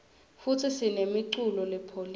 futsi sinemuculo lepholile